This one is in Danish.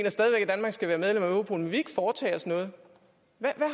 ikke foretage os noget hvad